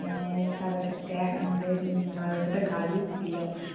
এর তাদের মামার বাড়িতে একটা গাড়ি ছিল।